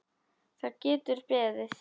Það getur beðið.